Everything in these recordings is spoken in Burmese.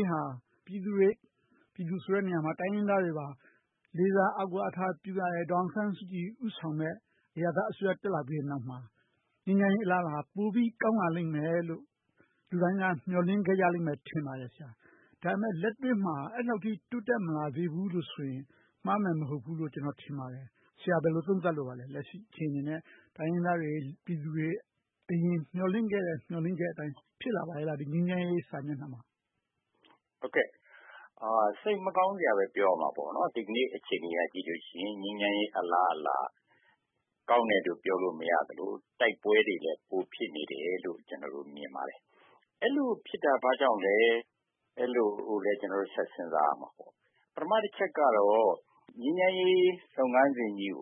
ေးဟာ ပြည်သူတွေ - ပြည်သူတွေဆိုတဲ့နေရာမှာ တိုင်းရင်းသားတွေ လေးစားအားကိုးအားထားပြုရတဲ့ ဒေါ်အောင်ဆန်းစုကြည် ဦးဆောင်တဲ့ အရပ်သားအစိုးရ တက်လာပြီးတဲ့နောက်မှာ ငြိမ်းချမ်းရေး အလားအလာဟာ ပိုပြီးကောင်းမွန်လာလိမ့်မယ်လို့ လူတိုင်းက မျှော်လင့်ခဲ့ကြမယ် ထင်ပါတယ်။ ဒါပေမဲ့ လက်တွေ့မှာ အဲဒီလောက်အထိ တိုးတက်မလာသေးဘူးလို့ဆိုရင် မှားမယ်မဟုတ်ဘူးလို့ ကျနော် ထင်ပါတယ်။ ဆရာ ဘယ်လိုသုံးသပ်လိုပါလဲ - လက်ရှိအခြေအနေနဲ့ တိုင်းရင်းသားတွေ၊ ပြည်သူတွေ အရင်မျှော်လင့်ခဲ့တဲ့ မျှော်လင့်ချက်အတိုင်း ငြိမ်းချမ်းရေးက ဖြစ်လာပါရဲ့လား။ စိတ်မကောင်းစွာဘဲ ပြောရမှာပေါ့ - ဒီနေ့အခြေအနေကို ကြည့်လိုက်လို့ရှိရင် ငြိမ်းချမ်းရေးအလားအလာ ကောင်းတယ်လို့ ပြောလို့မရသလို၊ တိုက်ပွဲတွေလည်း ပိုဖြစ်နေတယ်လို့ ကျနော်တို့ မြင်ပါတယ်။ အဲဒီလိုဖြစ်တာ ဘာကြောင့်လဲ။ အဲဒီလိုလဲ ကျနော်တို့ ဆက်စဉ်းစားရပါလိမ့်မယ်။ ပထမတချက်ကတော့ ငြိမ်းချမ်းရေးလုပ်ငန်းစဉ်ကြီး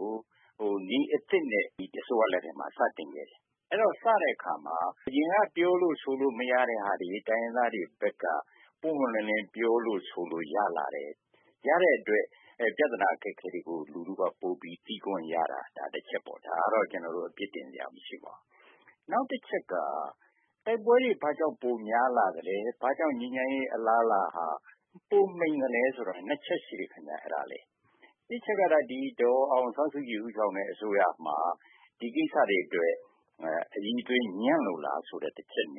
ကို နည်းအသစ်နဲ့ ဒီအစိုးရလက်ထက်မှာ စတင်ခဲ့တယ်။ အဲဒီလို စတဲ့အခါမှာ အရင်က ပြောလို့ဆိုလို့ မရတဲ့ဟာတွေ၊ တိုင်းရင်းသားတွေဘက်က ပွင့်ပွင့်လင်းလင်း ပြောလို့ဆိုလို့ ရလာခဲ့တယ်။ ရတဲ့အတွက် ပြဿနာအခက်အခဲတွေကို လူထုက ပိုမိုသိခွင့်ရတဲ့ တချက်။ ဒါကတော့ အပြစ်တင်စရာ မရှိပါဘူး။ နောက်တချက်က တိုက်ပွဲတွေ ဘာကြောင့်ပိုများလာသလဲ။ ဘာကြောင့် ငြိမ်းချမ်းရေးအလားအလာဟာ ပိုမှိန်လာသလဲဆိုတာ နှစ်ချက်ရှိတယ်။ တစ်အချက်ကတော့ ဒေါ်အောင်ဆန်းစုကြည် ဦးဆောင်တဲ့အစိုးရမှာ ဒီကိစ္စတွေအတွက် အရည်အသွေး ညံ့လို့လားဆိုတဲ့ အချက်။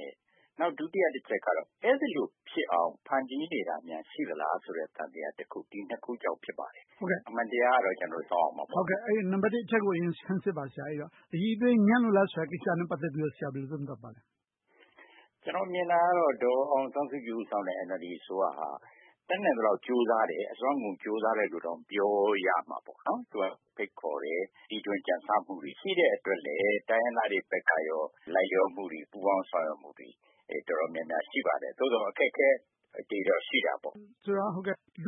ဒုတိယတချက်ကတော့ အဲဒီလိုဖြစ်အောင် ဖန်တီးနေတာများ ရှိသလားဆိုတဲ့ သံသယတခု။ ဒီနှစ်ခုကြောင့် ဖြစ်ပါတယ်။ အမှန်တရားကိုတော့ ကျနော်တို့ စောင့်ရမှာပါ။ အဲဒီတော့ နံပတ်တစ် အချက်ကို အရင်ဆန်းစစ်ပါ ဆရာ။ အရည်အသွေး ညံ့လို့လားဆိုတဲ့ အချက်နဲ့ ပတ်သက်ပြီး ဘယ်လိုသုံးသပ်ပါလဲ။ ကျနော် မြင်တာကတော့ ဒေါ်အောင်ဆန်းစုကြည် ဦးဆောင်တဲ့ NLD အစိုးရက တတ်နိုင်သလောက် ကြိုးစားတယ်။ အစွမ်းကုန်ကြိုးစားတယ်လို့တောင် ပြောရမှာပေါ့။ သူက ဖိတ်ခေါ်တယ်။ တီထွင်ကြံဆမှုတွေ ရှိတဲ့အတွက်လဲ တိုင်းရင်းသားတွေဘက်က လိုက်လျောမှုတွေ၊ ပူးပေါင်းဆောင်ရွက်မှုတွေ တော်တော်များများ ရှိပါတယ်။ သို့သော် အခက်အခဲတွေတော့ ရှိတာပေါ့။ ဆိုတော့ လူ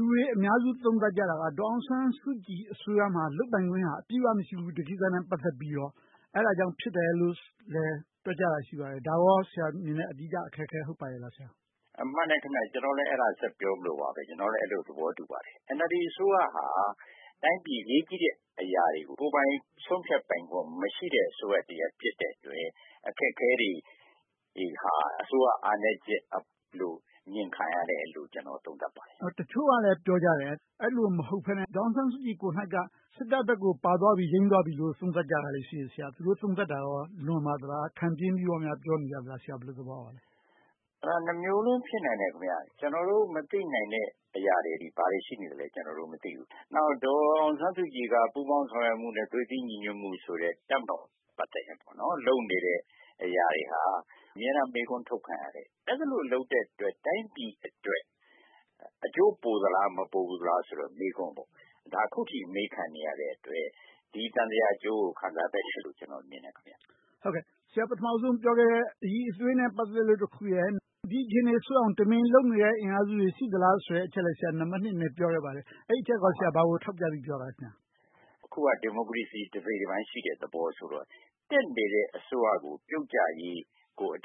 တွေအများစု သုံးသပ်ကြတာက ဒေါ်အောင်ဆန်းစုကြည်အစိုးရမှာ လုပ်ပိုင်ခွင့် အပြည့်အဝမရှိဘူး ဒီကိစ္စနဲ့ ပတ်သက်လို့ အဲဒါကြောင့် ဖြစ်တယ်လို့လဲ တွက်ကြတာ ရှိပါတယ်။ ဒါကို ဆရာမြင်တဲ့ အဓိကအခက်အခဲ ဟုတ်ပါရဲ့လား။ မှန်တယ်ခင်များ။ ကျနော်လည်း အဲဒါဆက်ပြောဖို့ပါ။ ကျနော်လည်း အဲဒါကို သဘောတူပါတယ်။ NLD အစိုးရဟာ တိုင်းပြည်အရေးကြီးတဲ့အရာတွေကို ကိုယ်ပိုင်ဆုံးဖြတ်ပိုင်ခွင့် မရှိတဲ့ အစိုးရဖြစ်တဲ့အတွက် အခက်အခဲတွေဟာ အစိုးရအားနည်းချက်လို့ အမြင်ခံရတယ်လို့ ကျနော် သုံးသပ်ပါတယ်။ တချို့က ပြောကြတယ် အဲဒီလို မဟုတ်ဘဲနဲ့ ဒေါ်အောင်ဆန်းစုကြည်ကိုယ်တိုင် စစ်တပ်ဘက်ကို ပါသွားပြီ၊ ယိမ်းသွားပြီလို့ သုံးသပ်ကြတယ်။ သူတို့ သုံးသပ်ချက်တွေ လွန်ပါသလား။ ခံပြင်းပြီးတော့ ပြောနေကြလား။ ဆရာ ဘယ်လိုသဘောရပါလဲ။ နှစ်မျိုးလုံး ဖြစ်နိုင်တယ်။ ကျနော်တို့ မသိနိုင်တဲ့အရာတွေ ဘာတွေရှိနေသလဲ ကျနော်တို့ မသိဘူး။ နောက် ဒေါ်အောင်ဆန်းစုကြည်က ပူးပေါင်းဆောင်ရွက်မှုနဲ့ သွေးစည်းညီညွှတ်မှုဆိုတဲ့ တပ်မတော်နဲ့ လုပ်နေတဲ့အရာတွေဟာ အမြဲတမ်း မေးခွန်းထုတ်ခံရတယ်။ အဲဒီလို လုပ်တဲ့အတွက် တိုင်းပြည်အတွက် အကျိုးပိုသလား၊ မပိုသလားဆိုတဲ့ မေးခွန်း။ ဒါက အခုထိ မေးခံနေရတဲ့အတွက် ဒီသံသယအကျိုးကို ခံစားနေရတယ်လို့ ကျနော်မြင်တယ်။ ဆရာ ပထမဦးဆုံးပြောခဲ့တဲ့ အရည်အသွေးနဲ့ ပတ်သက်လို့တခုရယ်။ ဒီအခြေအနေဆိုးအောင် တမင်လုပ်နေတဲ့ အင်အားစုတွေ ရှိသလားဆိုတာကို နံပတ်နှစ်အနေနဲ့ ပြောခဲ့တယ်။ အဲဒီအချက်က ဘာကိုထောက်ပြပြီး ပြောတာလဲ။ အခုက ဒီမိုကရေစီ တစိတ်တပိုင်းရှိတယ်ဆိုတဲ့ သဘောဆိုတော့ တက်နေတဲ့ အစိုးရကို ပြုတ်ကျအောင် အ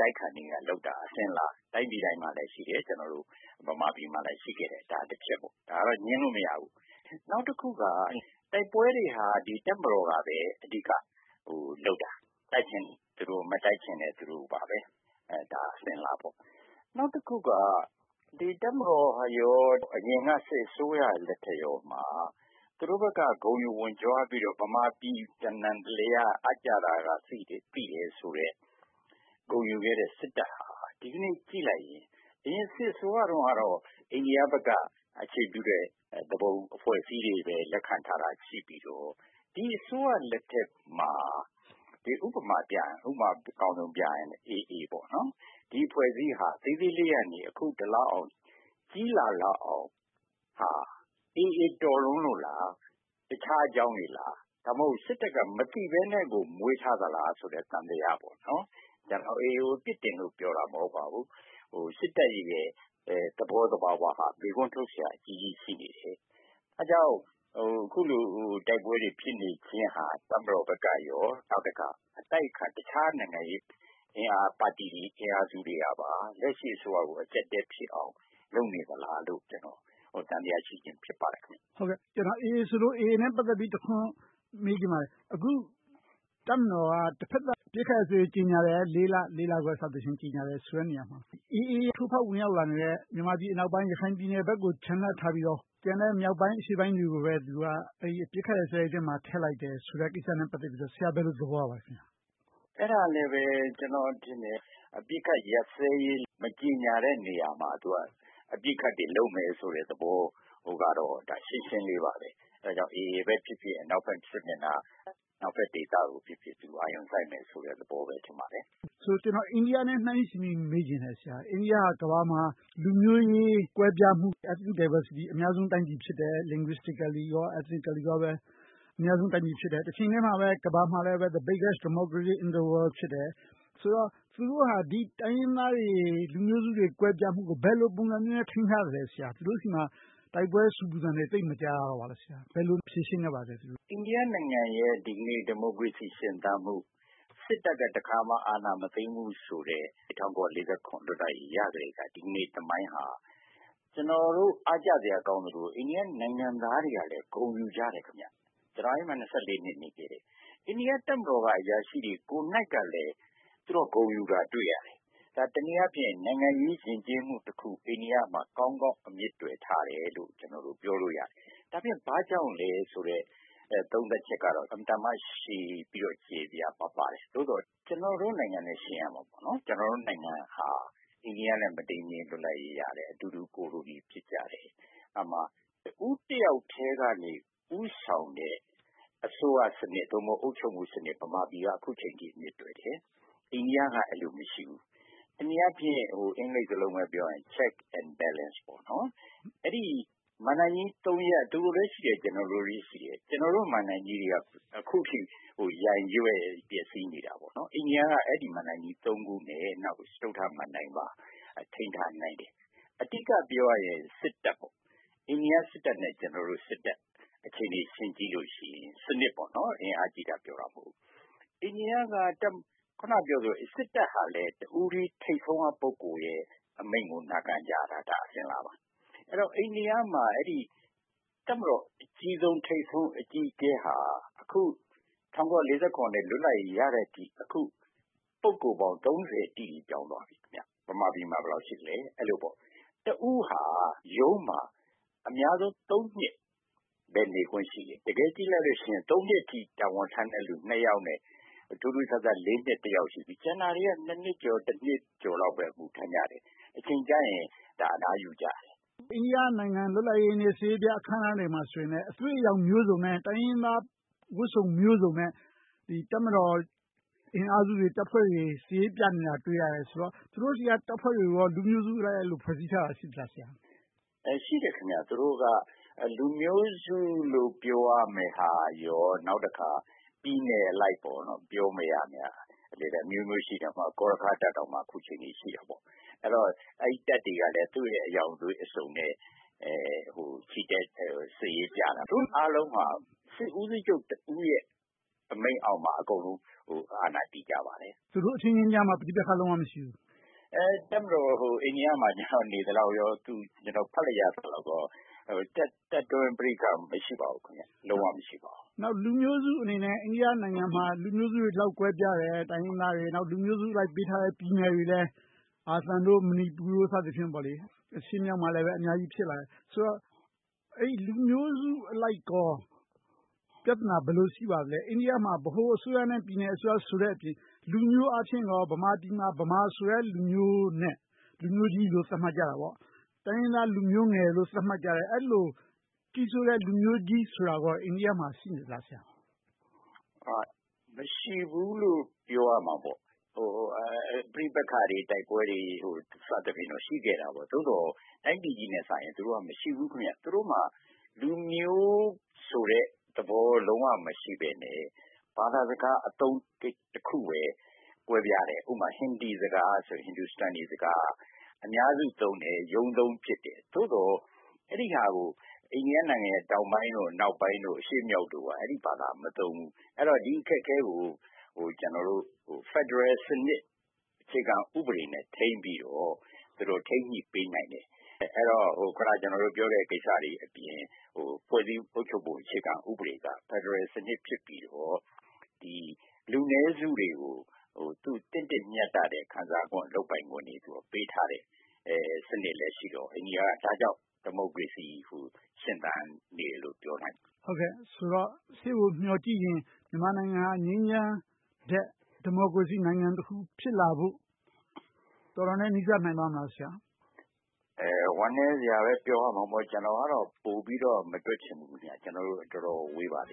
တိုက်အခံတွေလုပ်တာ အစဉ်အလာ။ တိုင်းပြည်တိုင်းမှာလည်းရှိတယ်။ ကျနော်တို့ ဗမာပြည်မှာလည်း ရှိခဲ့တယ်။ ဒါကိုတော့ ငြင်းလို့မရဘူး။ နောက်တခုက တိုက်ပွဲတွေဟာ တပ်မတော်ကပဲ အဓိကလုပ်တာ။ တိုက်ချင်လဲသူတို့၊ မတိုက်ချင်လဲသူတို့ပါ။ ဒါက အစဉ်အလာပေါ့။ နောက်တခုက ဒီတပ်မတော်နဲ့ အရင်အစိုးရလက်ထက်မှာ သူတို့ဘက်က ဂုဏ်ယူဝံ့ကြွားပြီးတော့ ဗမာပြည်တနံတလျားက အပ်ကျတာကအစ သိတယ်ဆိုတဲ့ ဂုဏ်ယူခဲ့တဲ့စစ်တပ်ဟာ ဒီကနေ့ ကြည့်လိုက်ရင် စစ်အစိုးရတုန်းကတော့ အိန္ဒိယဘက်က အခြေပြုတဲ့ သူပုန်အဖွဲ့အစည်းတွေပဲ လက်ခံထားတာ ရှိပြီးတော့၊ ဒီအစိုးရလက်ထက်မှာ ဥပမာ အကောင်းဆုံးပြရင် AA ပေါ့။ ဒီအဖွဲ့အစည်းဟာ သေးသေးလေးကနေ အခုအခါ ကြီးလာလောက်အောင် ဖြစ်လာတာ AA တော်လွန်လို့လား။ တခြားအကြောင်းတွေလား။ ဒါမှမဟုတ် စစ်တပ်က မသိဘဲနဲ့ မွေးထားသလားဆိုတဲ့ သံသယပေါ့။ ကျနော် AA ကို အပြစ်တင်ပြောတာမဟုတ်ပါဘူး။ စစ်တပ်ရဲ့ သဘောသဘာဝဟာ မေးခွန်းထုတ်စရာ အကြီးကြီးရှိနေတယ်။ အဲဒါကြောင့် အခုလို တိုက်ပွဲတွေ ဖြစ်နေခြင်းဟာ တပ်မတော်ဘက်ကရော၊ နောက်တခါ အတိုက်အခံ တခြားနိုင်ငံရေးအင်အား၊ ပါတီအင်အားစုတွေကပါ လက်ရှိအစိုးရကို အကျပ်အတည်းဖြစ်အောင် လုပ်နေသလားလို့ ကျနော် သံသယရှိခြင်း ဖြစ်ပါတယ်။ AA ဆိုလို့ AA နဲ့ ပတ်သက်ပြီး တခွန်းမေးချင်ပါတယ်။ အခု တပ်မတော်က တဘက်သတ် အပစ်အခတ်ရပ်စဲရေး ကြေညာတယ် လေးလ၊ လေးလခွဲ စသဖြင့် ကြေညာတဲ့နေရာမှာ AA ထိုးဖောက်ဝင်လာတဲ့ မြန်မာပြည်အနောက်ပိုင်း ရခိုင်ပြည်နယ်ဘက်ကိုချန်လှပ်ထားပြီးတော့ ကျန်တဲ့မြောက်ပိုင်း အရှေ့ပိုင်းတွေကိုပဲ အပစ်အခတ်ရပ်စဲရေးမှာ ထည့်လိုက်တယ်ဆိုတဲ့ ကိစ္စနဲ့ ပတ်သက်ပြီး ဘယ်လိုသဘောရပါလဲ။ အဲဒါလဲပဲ ကျနော်ထင်တယ် အပစ်အခတ်ရပ်စဲရေး မကြေညာတဲ့နေရာမှာ သူက ပစ်ခတ်တယ်လို့ လုပ်မယ်ဆိုတဲ့သဘောကတော့ ရှင်းရှင်းလေးပါ။ အဲဒါကြောင့် AA ပဲဖြစ်ဖြစ်၊ အနောက်ဘက်စစ်မျက်နှာ၊ အနောက်ဘက်ဒေသကို အာရုံစိုက်မယ်ဆိုတဲ့သဘောလို့ ထင်ပါတယ်။ ဆိုတော့ ကျနော် အိန္ဒိယနဲ့ နှိုင်းယှဉ်ပြီး မေးချင်တယ်။ အိန္ဒိယက ကမ္ဘာပေါ်မှာ လူမျိုးရေးကွဲပြားမှု Ethnic Diversity အများဆုံးဖြစ်တယ်။ linguistically, ethnically အများဆုံး တိုင်းပြည်ဖြစ်တယ်။ တချိန်တည်းမှာပဲ ကမ္ဘာပေါ်မှာလည်း the biggest democracy in the world ဖြစ်တယ်။ ဆိုတော့ သူတို့ဟာ ဒီတိုင်းရင်းသားတွေ၊ လူမျိုးစုတွေ ကွဲပြားမှုကို ဘယ်လိုပုံစံမျိုးနဲ့ ထိန်းထားသလဲ။ သူတို့ဆီမှာ တိုက်ပွဲဆူပူသံတွေ သိပ်မကြားရပါလား။ ဘယ်လို ဖြေရှင်းခဲ့ပါလဲ။ အိန္ဒိယနိုင်ငံရဲ့ ဒီကနေ့ ဒီမိုကရေစီ ရှင်သန်မှု၊ စစ်တပ်က တခါမှ အာဏာမသိမ်းဘူးဆိုတဲ့ ၁၉၄၇ လွတ်လပ်ရေးရကတည်းက ဒီကနေ့ သမိုင်းဟာ ကျနော်တို့ အားကျစရာ ကောင်းသလို၊ အိန္ဒိယနိုင်ငံသားတွေကလည်း ဂုဏ်ယူကြတယ်။ ကျနော် အဲဒီမှာ နှစ် နေခဲ့တယ်။ အိန္ဒိယတပ်မတော်က အရာရှိတွေကိုယ်တိုင်ကလည်း ဂုဏ်ယူတာကို တွေ့ရတယ်။ ဒါက တနည်းအားဖြင့် နိုင်ငံရေးယဉ်ကျေးမှုတခု အိန္ဒိယမှာ ကောင်းကောင်းအမြစ်တွယ်ထားတယ်လို့ ကျနော်တို့ ပြောလို့ရတယ်။ ဒါကြောင့် ဘာကြောင့်လဲဆိုတဲ့ သုံးသပ်ချက်က အင်မတန်မှ့ရှည်ပြီးတော့ ကျယ်ပြန့်ပါတယ်။ သို့သော် ကျနော်တို့နိုင်ငံနဲ့ ယှဉ်ရမှာပေါ့။ ကျနော်တို့နိုင်ငံဟာ အိန္ဒိယနဲ့ မတိမ်မယိမ်း လွတ်လပ်ရေးရခဲ့တယ်။ အတူတူ ကိုလိုနီ ဖြစ်ကြတယ်။ အဲဒီမှာ တဦိးတယောက်ထဲကနေ ဦးဆောင်တဲ့ အစိုးရစနစ် သို့မဟုတ် အုပ်ချုပ်မှုစနစ် ဗမာပြည်က အခုအချိန်အထိ အမြစ်တွယ်နေတယ်။ အိန္ဒိယမှာ အဲဒီလို မရှိဘူး။ တနည်းအားဖြင့် အင်္ဂလိပ်စကားလုံးနဲ့ ပြောရရင် Check and Balance မဏ္ဍိုင်ကြိး ရပ် သူတို့လည်းရှိတယ်။ ကျနော်တို့လည်းရှိတယ်။ ကျနော်တို့မဏ္ဍိုင်ကြီးတွေက အခုထိ ယိုင်းရွဲ့ပျက်ဆီးနေတယ်။ အိန္ဒိယက အဲဒီမဏ္ဍိုင်ကြီး ရပ်နဲ့ စတုတ္ထမဏ္ဍိုင်ပါ ထိန်းထားနိုင်တယ်။ အဓိကပြောချင်တာက စစ်တပ်ပေါ့။ အိန္ဒိယစစ်တပ်နဲ့ ကျနော်တို့စစ်တပ်ကို ကြည့်မယ်ဆိုရင် စနစ်ပေါ့။ အင်အားကြီးတာ ပြောတာမဟုတ်ဘူး။ အိန္ဒိယက အခုနပြောသလိုပဲ စစ်တပ်ဟာလည်း တဦးတည်းထိပ်ဆုံးက ပုဂ္ဂိုလ်ရဲ့ အမိန့်ကို နာခံကြတာ အစဉ်အလာပါ။ အိန္ဒိယမှာ တပ်မတော်ရဲ့ ထိပ်ဆုံးအကြီးအကဲဟာ အခု ၁၉၄၇ လွတ်လပ်ရေးရတဲ့အချိန်ကနေ အခုထိ ပုဂ္ဂိုလ်ပေါင်း တိတိ ပြောင်းသွားခဲ့တယ်။ မြန်မာပြည်မှာ ဘယ်လောက်ရှိသလဲ။ အဲဒီလိုပေါ့။ ပုဂ္ဂိုလ်တဦးဟာ ရုံးမှာ အများဆုံး နှစ်ပဲ နေခွင့်ရှိတယ်။ တကယ်ကြည့်လိုက်လို့ရှိရင် နှစ်အထိ တာဝန်ထမ်းတဲ့လူ ယောက်နဲ့ ထူးထူးဆန်းဆန်း နှစ် ယောက်ရှိပြီး ကျန်တာတွေက နှစ်ကျော်၊ နှစ်လောက်ပဲ အမှုထမ်းကြတယ်။ အချိန်ကျရင် အနားယူကြတယ်။ အိန္ဒိယနိုင်ငံ လွတ်လပ်ရေးနေ့ စစ်ရေးပြအခမ်းအနားတွေမှာလည်း အသွေးအရောင်မျိုးစုံနဲ့ တိုင်းရင်းသားဝတ်စုံမျိုးစုံနဲ့ တပ်မတော်အင်အားစုတွေ၊ တပ်ဖွဲ့တွေ စစ်ရေးပြနေတယ်ဆိုတာ တွေ့ရတယ်ဆိုတော့ သူတို့ဆီက တပ်ဖွဲ့တွေကိုရော လူမျိုးစုအလိုက် ဖွဲ့စည်းထားတာ ရှိပါလား။ ရှိပါတယ်။ သူတို့က လူမျိုးစုလို့ ပြောရမယ့်ဟာနဲ့ နောက်တခါ ပြည်နယ်အလိုက် ပြောရမယ်ဟာတွေ အမျိုးမျိုးရှိတယ်။ ဥပမာ ဂေါ်ရခါးတပ်တောင် အခုအချိန်အထိ ရှိနေသေးတယ်။ အဲဒီတော့ အဲဒီတပ်တွေကလည်း သူတို့အရောင်အသွေးမျိုးစုံနဲ့ စစ်ရေးပြကြတယ်။ အားလုံးဟာ စစ်ဦးချုပ်တဦးရဲ့ အမိန့်အောက်မှာ အားလုံးတည်ကြပါတယ်။ သူတို့အချင်းချင်းကြားမှာ ပဋိပက္ခ လုံးဝမရှိကြဘူး။ အိန္ဒိယမှာ နေသလောက်ကော၊ ဖတ်ရသလောက်ကော တပ်တွင်းပဋိပက္ခ လုံးဝမရှိပါဘူး။ နောက်လူမျိုးစုအနေနဲ့ အိန္ဒိယနိုင်ငံမှာ လူမျိုးစုတွေ ဒီလောက်ကွဲပြားတယ်။ တိုင်းရင်းသားတွေ။ နောက်လူမျိုးစုအလိုက် ပေးထားတဲ့ ပြည်နယ်တွေလဲ အာသံ၊ မဏိပူ စသည်တို့ရှိကြတယ်။ အရှေ့မြောက်မှာလည်း အများကြီးဖြစ်လာတယ်။ ဆိုတော့ လူမျိုးစုအလိုက်ကော ပြဿနာ ဘယ်လိုရှိပါသလဲ။ အိန္ဒိယမှာ ဗဟိုအစိုးရနဲ့ ပြည်နယ်အစိုးရအပြင် လူမျိုးအားဖြင့်ကော ဗမာပြည်မှာ ဗမာဆိုတဲ့လူမျိုးနဲ့ လူမျိုးကြီးလို့ သတ်မှတ်ကြတယ်။ တိုင်းရင်းသားလူမျိုးငယ်လို့ သတ်မှတ်ကြတယ်။ အဲဒီလို ကြီးစိုးတဲ့လူမျိုးကြီးဆိုတာ အိန္ဒိယမှာ ရှိနေသလား။ မရှိဘူးလို့ ပြောရမှာပေါ့။ ပဋိပက္ခတွေ၊ တိုက်ပွဲတွေ စသဖြင့်တော့ ရှိခဲ့တာပေါ့။ သို့သော် တိုင်းပြည်ကြီးနဲ့စာရင် သူတို့မှာ မရှိဘူး။ သူတို့မှာ လူမျိုးဆိုတဲ့သဘော လုံးဝမရှိဘဲနဲ့ ဘာသာစကားအသုံးတခုပဲ ကွဲပြားတယ်။ ဥပမာ ဟင်ဒီစကားဆိုရင် အများစုသုံးတဲ့ ရုံးသုံးဖြစ်တယ်။ သို့သော် အဲဒီဟာကို အိန္ဒိယနိုင်ငံတောင်ပိုင်း၊ အနောက်ပိုင်းနဲ့ အရှေ့မြောက်တို့မှာ အဲဒီဘာသာကို မသုံးဘူး။ အဲဒီတော့ ဒီအခက်အခဲကို ကျနော်တို့ ဖယ်ဒရယ်စနစ် အခြေခံဥပဒေနဲ့ ထိန်းပြီးတော့ သူတို့တွေထိန်းညှိပေးနိုင်တယ်။ အဲဒီတော့ အခုန ကျနော်တို့ပြောတဲ့ ကိစ္စတွေအပြင်၊ ဖွဲ့စည်းပုံအခြေခံဥပဒေ က ဖယ်ဒရယ်စနစ်ဖြစ်ပြီးတော့ လူနည်းစုတွေကို သင့်တင်မျှတတဲ့ ခံစားခွင့်၊ လုပ်ပိုင်ခွင့်တွေ ပေးထားတဲ့ စနစ်လည်းရှိတော့ အိန္ဒိယက ဒါကြောင့် ဒီမိုကရေစီကို ရှင်သန်နေတယ်လို့ ပြောနိုင်ပါတယ်။ ဆိုတော့ ရှေ့ကိုမျှော်ကြည့်ရင် မြန်မာနိုင်ငံဟာ ငြိမ်းချမ်းရေးထက် ဒီမိုကရေစီနိုင်ငံတခုခု ဖြစ်လာဖို့ တော်တော်နဲ့ နီးစပ်နိုင်ပါမလား ဆရာ။ ဝမ်းနည်းစရာပဲ ပြောရမှာပေါ့ ကျနော်ကတော့ ပိုပြီးတော့ မတွက်ချင်ဘူး။ ကျနော်တို့ တော်တော် ဝေးပါသေးတ